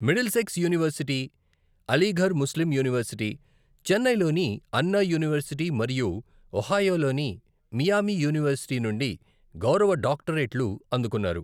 Middlesex University, Aligarh Muslim University, చెన్నైలోని Anna University మరియు ఒహియోలోని మియామి యూనివర్శిటీ నుండి గౌరవ డాక్టరేట్లు అందుకున్నారు.